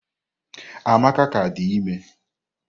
Amaka ka di ime.